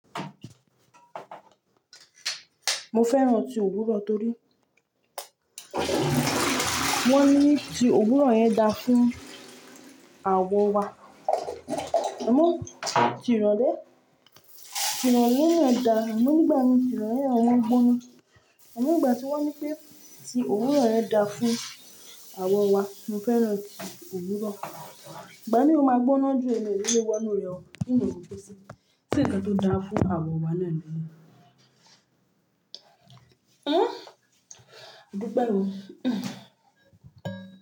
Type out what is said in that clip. Mo fẹ́ràn tí òwúrọ̀ torí wọ́n ní tí òwúrọ̀ yẹn da fún àwọ̀ wa. Amú, tirọ̀ lé. Tirọ̀ na n da, amo nígbà mí tirọ̀ yẹn ọ̀ wọ́n gbóná. Amo nígbà tí wọ́n ní pé tí òwúrọ̀ yẹn da fún àwọ̀ wa, mo fẹ́ràn tí òwúrọ̀. Ìgbà ní o máa gbóná ju ẹ̀mí eré léwọ́ inú rẹ o, Sé ǹkan tó da fún àwọ̀ wa náà ni? Hmm? Dúpẹ́ o.